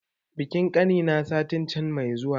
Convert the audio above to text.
Bikin ƙani na satin can mai zuwa ne